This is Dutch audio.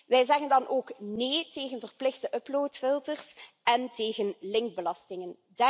Wij zeggen dan ook nee tegen verplichte uploadfilters en tegen linkbelastingen.